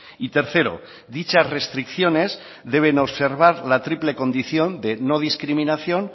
y tercero dichas restricciones deben observar la triple condición de no discriminación